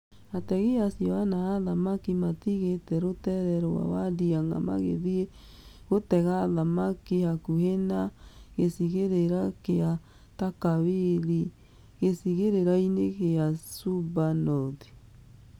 Ategi acio ana a thamaki maatigĩte rũtere rwa Wadiang 'a magĩthiĩ gũtega thamaki hakuhĩ na gĩcigĩrĩra kĩa Takawiri gĩcigĩrĩra-inĩ gĩa Suba North.